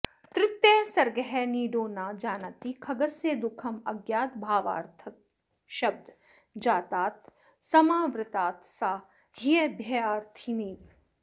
तृतीयः सर्गः नीडो न जानाति खगस्य दुःखम् अज्ञातभावार्थकशब्दजातात् समावृतात् सा ह्यभयार्थिनीव